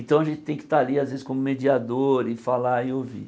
Então a gente tem que estar ali, às vezes, como mediador e falar e ouvir.